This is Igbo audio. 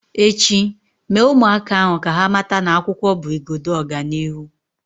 Echi, Mee ụmụaka ahu ka ha mata na akwụkwọ bụ igodo ọganihu